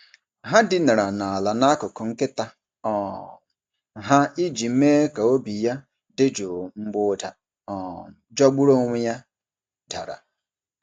Ha dinara n’ala n’akụkụ nkịta um ha iji mee ka obi ya dị jụụ mgbe ụda um jọgburu onwe ya dara.